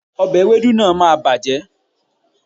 òbe ewédú náà máà bàjẹ́